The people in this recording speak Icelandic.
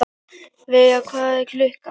Veiga, hvað er klukkan?